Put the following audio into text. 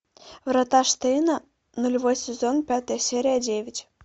врата штейна нулевой сезон пятая серия девять